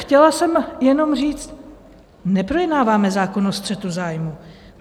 Chtěla jsem jenom říct: neprojednáváme zákon o střetu zájmů.